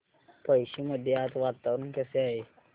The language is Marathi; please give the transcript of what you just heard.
पळशी मध्ये आज वातावरण कसे आहे